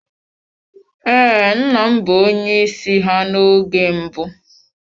Ee, nna m bụ onye isi ha n'oge mbụ.